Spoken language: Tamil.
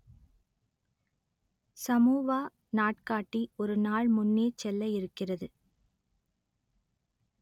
சமோவா நாட்காட்டி ஒரு நாள் முன்னே செல்ல இருக்கிறது